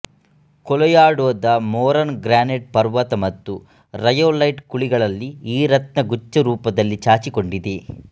ಕೋಲೊರ್ಯಾಡೊದ Moran granite ಪರ್ವತ ಮತ್ತು rhyolite ಕುಳಿಗಳಲ್ಲಿ ಈ ರತ್ನ ಗುಚ್ಛರೂಪದಲ್ಲಿ ಚಾಚಿಕೊಂಡಿದೆ